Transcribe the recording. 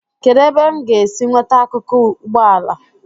kedu ebe m ga-esi nweta akụkụ ụgbọ ala